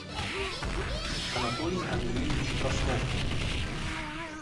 анатолий андреевич краснов